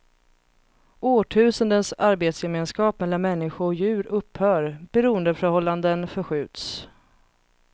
Årtusendens arbetsgemenskap mellan människa och djur upphör, beroendeförhållanden förskjuts.